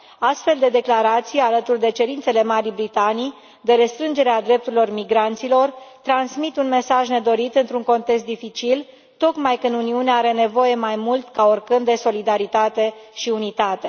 Astfel de declarații, alături de cerințele Marii Britanii, de restrângere a drepturilor migranților, transmit un mesaj nedorit într un context dificil, tocmai când Uniunea are nevoie mai mult ca oricând de solidaritate și unitate.